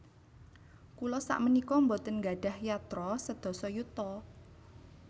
Kula sakmenika mboten nggadhah yatra sedasa yuta